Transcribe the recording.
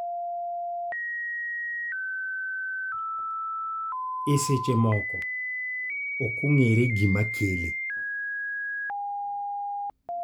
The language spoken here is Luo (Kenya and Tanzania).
E seche moko, ok ong�ere gima kele.